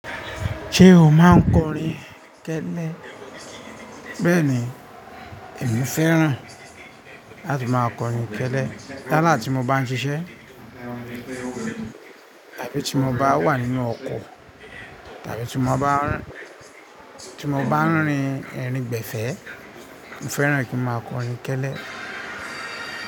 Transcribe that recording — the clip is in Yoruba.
Ṣé o máa ń kọrin kẹ́lẹ́? Bẹ́ẹ̀ni, èmi fẹ́ràn láti máa kọrin kẹ́lẹ́. Yáàlá tí mo bá ń ṣiṣẹ́, tàbí tí mo bá wà nínú ọkọ̀, tàbí tí mo bá ń rín, tí mo bá ń rin irin gbẹ̀fẹ́, mo fẹ́ràn kí n máa kọrin kẹ́lẹ́